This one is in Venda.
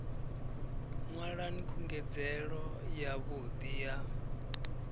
nwalani khungedzelo ya vhudi ya